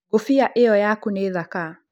Ngũbiia ĩyo yaku nĩ thaka.